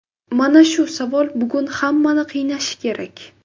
Mana shu savol bugun hammani qiynashi kerak.